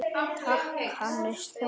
Takk, Hannes Þór.